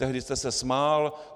Tehdy jste se smál.